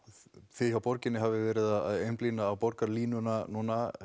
þið hjá borginni hafið verið að einblína á borgarlínuna núna